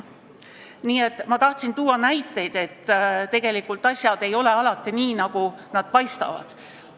Ma lihtsalt tahtsin tuua näiteid, et tegelikult asjad ei ole alati nii, nagu nad paistavad.